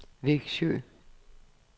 Vexjö